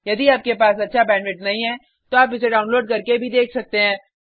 यदि आपके पास अच्छा बैंडविड्थ नहीं है तो आप इसे डाउनलोड करके देख भी सकते हैं